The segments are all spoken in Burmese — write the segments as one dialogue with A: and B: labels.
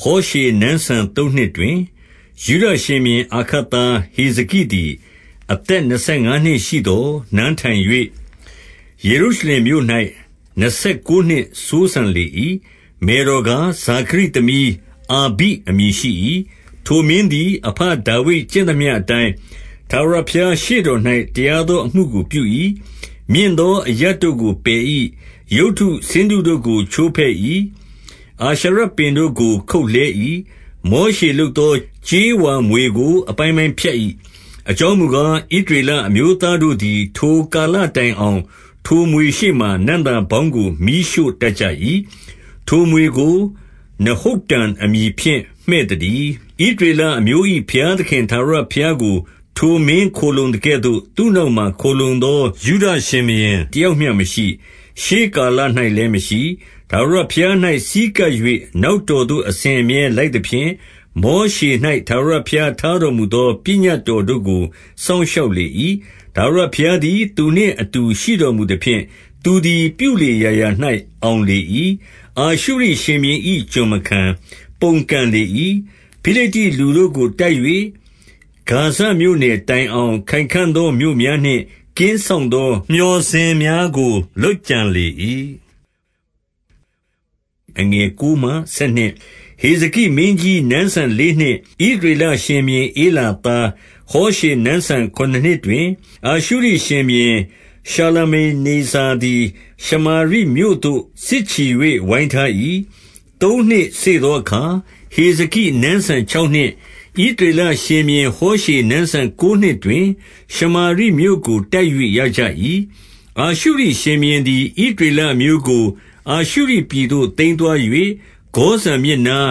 A: ဟောရှေနန်းစံသုံးနှစ်တွင်၊ 2 ယုဒရှင်ဘုရင် အာခတ်သား ဟေဇကိသည် အသက်နှစ် ဆယ်ငါးနှစ်ရှိသော် နန်းထိုင်၍ ယေရုရှလင်မြို့၌နှစ်ဆယ်ကိုးနှစ်စိုးစံလေ၏။ မယ်တော်ကား၊ ဇာခရိသမီးအာဘိအမည်ရှိ၏။ 3 ထိုမင်းသည်အဘဒါဝိဒ်ကျင့်သမျှအတိုင်း၊ ထာဝရဘုရားရှေ့တော်၌ တရားသောအမှုကိုပြု၏။ 4 မြင့်သောအရပ်တို့ကိုပယ်၏။ ရုပ်တုဆင်းတုတို့ကိုချိုးဖဲ့၏။ အာရှရပင်တို့ကို ခုတ်လှဲ၏။ မောရှေလုပ်သော ကြေးဝါမြွေကို အပိုင်းပိုင်း ဖြတ်၏။ အကြောင်းမူကား၊ ဣသရေလအမျိုးသားတို့သည် ထိုကာလတိုင်အောင်၊ ထိုမြွေရှေ့မှာ နံ့သာပေါင်းကို မီးရှို့တတ်ကြ၏။ ထိုမြွေကိုနဟုတ္တန်အမည်ဖြင့် မှည့်သတည်း။ 5 ဣသရေလအမျိုး၏ဘုရားသခင်ထာဝရဘုရားကို ထိုမင်းခိုလှုံသကဲ့သို့၊ သူ့နောက်မှာခိုလှုံသော ယုဒရှင်ဘုရင် တယောက်မျှမရှိ။ ရှေ့ကာလ၌လည်းမရှိ။ 6 ထာဝရဘုရား၌ဆည်းကပ်၍နောက်တော်သို့အစဉ်အမြဲလိုက်သဖြင့် မောရှေ၌ထာဝရဘုရားထားတော်မူ သောပညတ်တော်တို့ကို စောင့်ရှောက်လေ၏။ 7 ထာဝရဘုရားသည် သူနှင့်အတူရှိတော်မူသဖြင့်သူသည် ပြုလေရာရာ၌အောင်လေ၏။ အာရှုရိရှင်ဘုရင်၏ကျွင်မခံ။ ပုန်ကန်လေ၏။ 8 ဖိလိတ္တိလူတို့ကိုတိုက်၍ ဂါဇမြို့နယ်တိုင်အောင် ခိုင်ခံ့သောမြို့များနှင့် ကင်းစောင့်သောမျှော်စင်များကို လုပ်ကြံလေ၏။ 9 ဟေဇကိမင်းကြီးနန်းစံလေးနှစ်၊ ဣသရေလရှင်ဘုရင်ဧလာသားဟောရှေနန်းစံခုနစ်နှစ်တွင်၊ အာရှုရိရှင်ဘုရင် ရှာလမနေဇာသည် ရှမာရိမြို့သို့ စစ်ချီ၍ဝိုင်းထား၏။ 10 သုံးနှစ်စေ့သောအခါ၊ ဟေဇကိနန်းစံခြောက်နှစ်၊ ဣသရေလရှင်ဘုရင်ဟောရှေနန်းစံကိုးနှစ်တွင် ရှမာရိမြို့ကိုတိုက်၍ရကြ၏။ 11 အာရှုရိရှင်ဘုရင်သည် ဣသရေလအမျိုးကို အာရှုရိပြည်သို့သိမ်းသွား၍ ဂေါဇန်မြစ်နား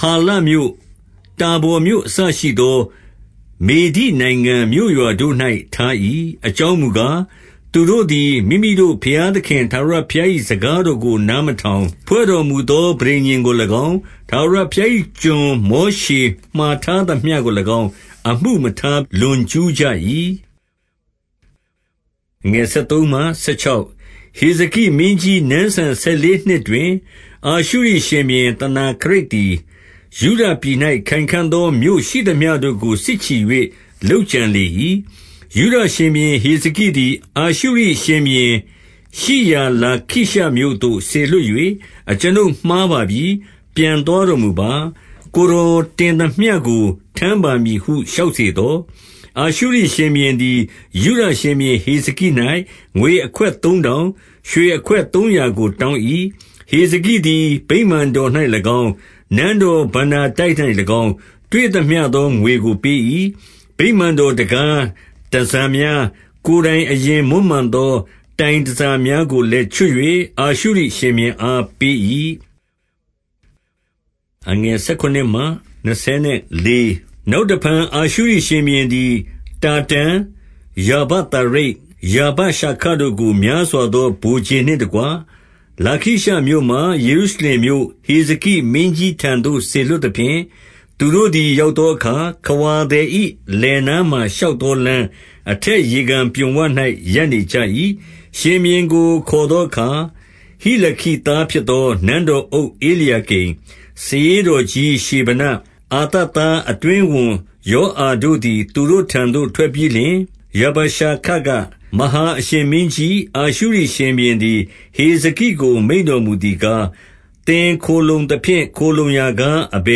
A: ၊ ဟာလမြို့၊ ဟာဗော်မြို့အစရှိသောမေဒိနိုင်ငံ မြို့ရွာတို့၌ထား၏။ 12 အကြောင်းမူကား၊ သူတို့သည်မိမိတို့ဘုရား သခင်ထာဝရဘုရား၏ စကားတော်ကို နားမထောင်၊ ဖွဲ့တော်မူသောပဋိညဉ်ကို၎င်း၊ ထာဝရဘုရား၏ကျွန်မောရှေမှာထားသမျှကို၎င်း၊ အမှုမထားလွန်ကျူးကြ၏။ 13 ဟေဇကိမင်းကြီးနန်းစံ ဆယ်လေးနှစ်တွင်၊ အာရှုရိရှင်ဘုရင်သနာခရိပ်သည်ယုဒပြည်၌ ခိုင်ခံ့သောမြို့ ရှိသမျှတို့ကို စစ်ချီ၍ လုပ်ကြံလေ၏။ 14 ယုဒရှင်ဘုရင်ဟေဇကိသည်အာရှုရိရှင်ဘုရင်ရှိရာလာခိရှမြို့သို့စေလွှတ်၍၊ အကျွန်ုပ်မှားပါပြီ။ ပြန်သွားတော်မူပါ။ ကိုယ်တော်တင်သမျှကိုထမ်းပါမည်ဟု လျှောက်စေသော်၊ အာရှုရိရှင်ဘုရင်သည်ယုဒရှင်ဘုရင် ဟေဇကိ၌ ငွေအခွက်သုံးထောင်၊ ရွှေအခွက်သုံးရာကိုတောင်း၏။ 15 ဟေဇကိသည်ဗိမာန်တော်၌၎င်း၊ နန်းတော် ဘဏ္ဍာတိုက်၌၎င်း၊ တွေ့သမျှသောငွေကိုပေး၏။ 16 ဗိမာန်တော်တံခါး၊ တန်ဆာများ၊ ကိုယ်တိုင်အရင်မွမ်းမံသော တိုင်တန်ဆာများကိုလည်းချွတ်၍ အာရှုရိရှင်ဘုရင်အားပေး၏။ 17 နောက်တဖန် အာရှုရိရှင်ဘုရင်သည် တာတန်၊ ရာဗသာရိတ်၊ ရာဗရှာခတို့ကို များစွာသော ဗိုလ်ခြေနှင့်တကွ၊ လာခိရှမြို့မှ ယေရုရှလင်မြို့၊ ဟေဇကိမင်းကြီးထံသို့စေလွှတ်သဖြင့်၊ သူတို့သည်ရောက်သောအခါ၊ ခဝါသည်၏ လယ်နားမှာရှောက်သောလမ်း၊ အထက်ရေကန်ပြွန်ဝ၌ရပ်နေကြ၏။ 18 ရှင်ဘုရင်ကို ခေါ်သောအခါ၊ ဟိလခိသားဖြစ်သော နန်းတော်အုပ် ဧလျာကိမ်၊ စာရေးတော်ကြီးရှေဗန၊ အာသပ်သား အတွင်းဝန်ယောအာတို့သည် သူတို့ထံသို့ ထွက်ပြီးလျှင်၊ 19 ရာဗရှာခက၊ မဟာအရှင်မင်းကြီး၊ အာရှုရိရှင်ဘုရင်သည် ဟေဇကိ ကို မိန့်တော်မူသည်ကား၊ သင်ခိုလှုံသဖြင့်ခိုလှုံရာကား အဘ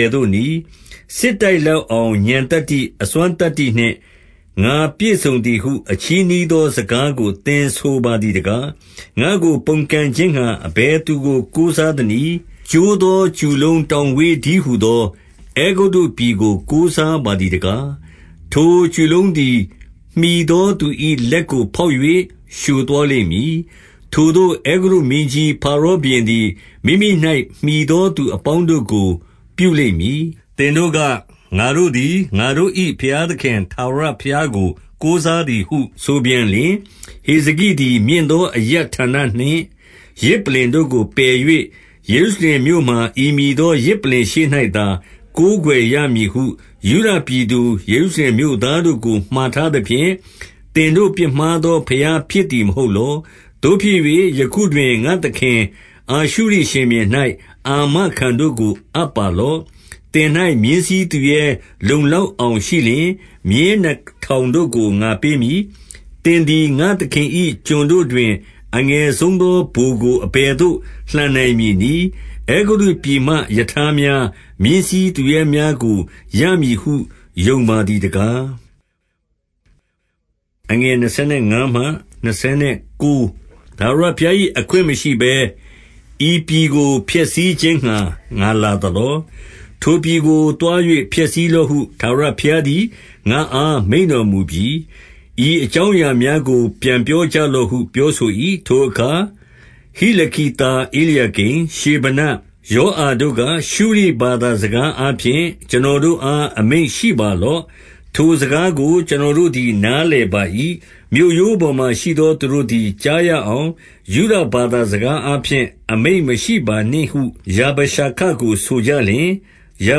A: ယ်သို့နည်း။ 20 စစ်တိုက်လောက်အောင် ဥာဏ်သတ္တိ၊ အစွမ်းသတ္တိနှင့် ငါပြည့်စုံသည်ဟု အချည်းနှီးသော စကားကို သင်ဆိုပါသည်တကား။ ငါ့ကိုပုန်ကန်ခြင်းငှါအဘယ်သူကိုကိုးစားသနည်း။ 21 ကျိုးသောကျူလုံးတောင်ဝေးတည်းဟူသော အဲဂုတ္တုပြည်ကို ကိုးစားပါသည်တကား။ ထိုကျူလုံးသည် မှီသောသူ၏လက်ကိုဖောက်၍ လျှိုသွားလိမ့်မည်။ ထိုသို့အဲဂုတ္တုမင်းကြီး ဖာရောဘုရင်သည် မိမိ၌မှီသော သူအပေါင်းတို့ကိုပြုလိမ့်မည်။ 22 သင်တို့က၊ ငါတို့သည် ငါတို့၏ဘုရားသခင် ထာဝရဘုရားကိုကိုးစားသည်ဟု ဆိုပြန်လျှင်၊ ဟေဇကိသည် မြင့်သောအရပ်ဌာနနှင့် ယဇ်ပလ္လင်တို့ကို ပယ်၍၊ ယေရုရှလင်မြို့မှာ ဤမည်သောယဇ်ပလ္လင်ရှေ့၌သာ ကိုးကွယ်ရမည်ဟုယုဒပြည်သူ ယေရုရှလင်မြို့သားတို့ကိုမှာထားသဖြင့်၊ သင်တို့ပြစ်မှားသောဘုရားဖြစ်သည် မဟုတ်လော။ 23 သို့ဖြစ်၍ယခုတွင် ငါ့သခင် အာရှုရိရှင်ဘုရင်၌ အာမခံတို့ကိုအပ်ပါလော့။ သင်၌မြင်းစီးသူရဲ လုံလောက်အောင်ရှိလျှင်မြင်းနှစ်ထောင်တို့ကိုငါပေးမည်။ 24 သင်သည် ငါ့သခင်၏ကျွန်တို့တွင် အငယ်ဆုံးသောဗိုလ်ကိုအဘယ်သို့လှန်နိုင်မည်နည်း။ အဲဂုတ္တုပြည်မှ ရထားများ၊ မြင်းစီးသူရဲများကို ရမည်ဟုယုံပါသည်တကား။ 25 ထာဝရဘုရား၏အခွင့်မရှိဘဲ ဤပြည်ကိုဖျက်ဆီးခြင်းငှါ ငါလာသလော။ ထိုပြည်ကို သွား၍ ဖျက်ဆီးလော့ဟု ထာဝရဘုရားသည် ငါ့အားမိန့်တော်မူပြီ။ ဤအကြောင်းအရာများကိုပြန်ပြောကြလော့ဟု ပြောဆို၏။ 26 ထိုအခါ ဟိလခိသား ဧလျာကိမ်၊ ရှေဗန၊ ယောအာတို့က၊ ရှုရိဘာသာစကားအားဖြင့် ကျွန်တော်တို့အား အမိန့်ရှိပါလော့။ ထိုစကားကို ကျွန်တော်တို့သည်နားလည်ပါ၏။ မြို့ရိုးပေါ်မှာ ရှိသောသူတို့သည် ကြားရအောင် ယုဒ ဘာသာစကားအားဖြင့် အမိန့်မရှိ ပါနှင့်ဟု ရာဗရှာခ ကိုဆိုကြလျှင်၊ 27 ရာ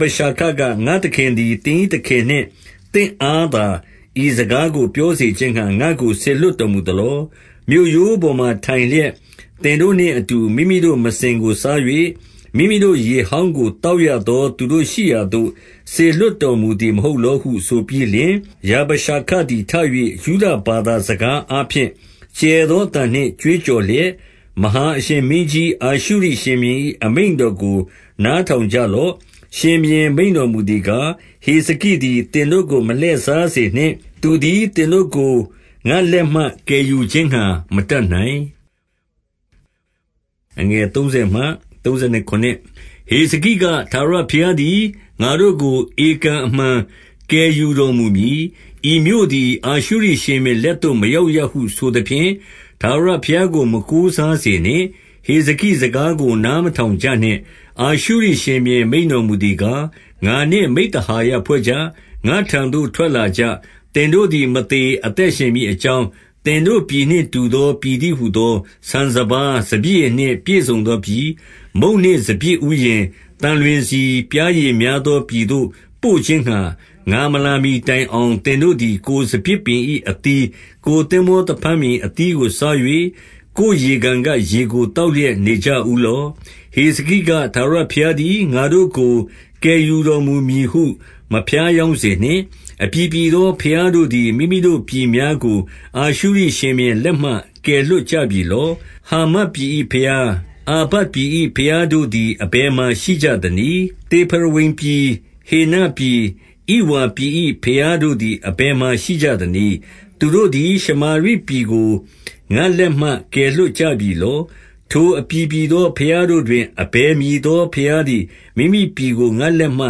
A: ဗရှာခက၊ ငါ့သခင်သည် သင်၏သခင်နှင့်သင့်အား သာဤစကားကိုပြောစေခြင်းငှါ ငါ့ကို စေလွှတ်တော်မူသလော။ မြို့ရိုးပေါ်မှာ ထိုင်လျက် သင်တို့နှင့်အတူ မိမိတို့မစင်ကိုစား၍၊ မိမိတို့ရေဟောင်းကို သောက်ရသောသူတို့ရှိရာသို့စေလွှတ်တော်မူသည် မဟုတ်လောဟုဆိုပြီးလျှင်၊ 28 ရာဗရှာခသည်ထ၍ ယုဒဘာသာ စကားအားဖြင့်ကျယ်သောအသံနှင့်ကြွေးကြော်လျက်၊ မဟာအရှင်မင်းကြီးအာရှုရိရှင်ဘုရင်၏ အမိန့်တော်ကိုနားထောင်ကြလော့။ 29 ရှင်ဘုရင်မိန့်တော်မူသည်ကား၊ ဟေဇကိသည် သင်တို့ကိုမလှည့်စားစေနှင့်။ သူသည်သင်တို့ကိုငါ့လက်မှ ကယ်ယူခြင်းငှါမတတ်နိုင်။ 30 ဟေဇကိက၊ ထာဝရဘုရားသည် ငါတို့ကိုဧကန်အမှန်ကယ်ယူတော်မူမည်။ ဤမြို့သည် အာရှုရိရှင်ဘုရင် လက်သို့မရောက်ရဟု ဆိုသဖြင့်၊ ထာဝရဘုရားကို မကိုးစားစေနှင့်။ 31 ဟေဇကိစကားကို နားမထောင်ကြနှင့်။ 32 အာရှုရိရှင်ဘုရင်မိန့်တော်မူသည်ကား၊ ငါနှင့်မိဿဟာယဖွဲ့ကြ။ ငါ့ထံသို့ထွက်လာကြ။ သင်တို့သည်မသေ အသက်ရှင်မည်အကြောင်း၊ သင်တို့ပြည်နှင့်တူသော ပြည်တည်းဟူသော၊ ဆန်စပါး စပျစ်ရည်နှင့် ပြည့်စုံသောပြည်၊ မုန့်နှင့်စပျစ်ဥယျဉ်၊ သံလွင်ဆီ၊ ပျားရည်များသောပြည်သို့ ပို့ခြင်းငှါ ငါမလာမှီတိုင်အောင် သင်တို့သည် ကိုယ်စပျစ်ပင်၏အသီး၊ ကိုယ်သင်္ဘောသဖန်းပင်၏အသီးကိုစား၍၊ ကိုယ်ရေကန်ကရေကို သောက်လျက် နေကြဦးလော့။ 33 ဟေဇကိက၊ ထာဝရဘုရားသည် ငါတို့ကိုကယ်ယူတော်မူမည်ဟု မဖြားယောင်းစေနှင့်။ အပြည်ပြည်သော ဘုရားတို့သည် မိမိတို့ပြည်များကို အာရှုရိရှင်ဘုရင်လက်မှ ကယ်လွှတ်ကြပြီလော။ 34 ဟာမတ်ပြည်၏ဘုရား၊ အာပဒ်ပြည်၏ ဘုရားတို့သည် အဘယ်မှာ ရှိကြသနည်း။ သေဖရဝိမ်ပြည်၊ ဟေနပြည်၊ ဣဝါပြည်၏ ဘုရားတို့သည် အဘယ်မှာရှိကြသနည်း။ သူတို့သည် ရှမာရိပြည်ကို ငါ့လက်မှ ကယ်လွှတ်ကြပြီလော။ 35 ထိုအပြည်ပြည်သောဘုရားတို့တွင် အဘယ်မည်သော ဘုရားသည် မိမိပြည်ကိုငါ့လက်မှ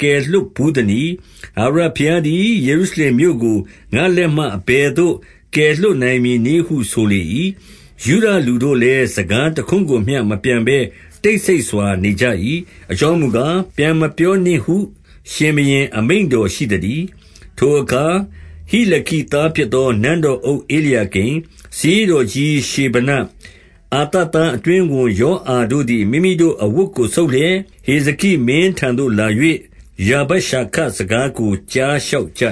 A: ကယ်လွှတ်ဘူးသနည်း။ ထာဝရဘုရားသည် ယေရုရှလင်မြို့ကို ငါ့လက်မှ အဘယ်သို့ကယ်လွှတ်နိုင်မည်နည်းဟု ဆိုလေ၏။ 36 ယုဒသူတို့လည်းစကားတခွန်းကိုမျှမပြန်ဘဲ တိတ်ဆိတ်စွာနေကြ၏။ အကြောင်းမူကား၊ ပြန်မပြောနှင့်ဟု ရှင်ဘုရင်မိန့်တော်ရှိသတည်း။ 37 ထိုအခါ ဟိလခိသားဖြစ်သော နန်းတော်အုပ် ဧလျာကိမ်၊ စာရေးတော်ကြီး ရှေဗန၊ အာသပ်သားအတွင်းဝန်ယောအာတို့သည် မိမိတို့အဝတ်ကို ဆုတ်လျက်၊ ဟေဇကိမင်းထံသို့လာ၍ ရာဗရှခ စကားကိုကြားလျှောက်ကြ